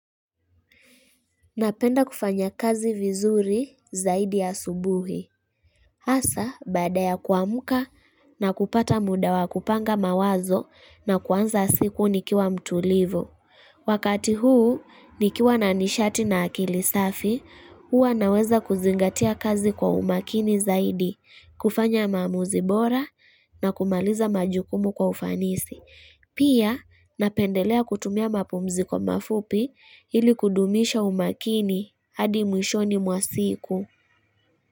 Napenda kufanya kazi vizuri zaidi ya subuhi. Hasa, baadaya kuamka na kupata mda wa kupanga mawazo na kuanza siku nikiwa mtulivu. Wakati huu, nikiwa nanishati na akili safi, huwa naweza kuzingatia kazi kwa umakini zaidi, kufanya maamuzibora na kumaliza majukumu kwa ufanisi. Pia napendelea kutumia mapumziko mafupi ili kudumisha umakini hadi mwishoni mwa siku.